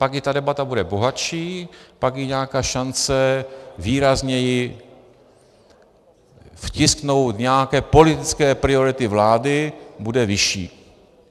Pak i ta debata bude bohatší, pak i nějaká šance výrazněji vtisknout nějaké politické priority vlády bude vyšší.